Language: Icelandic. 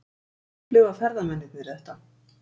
Hvernig upplifa ferðamennirnir þetta?